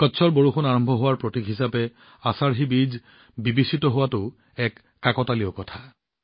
কচ্চৰ বৰষুণ আৰম্ভ হোৱাৰ প্ৰতীক হিচাপে আশাধী বীজক বিবেচিত হোৱাটোও এক কাকতলীয়া কথা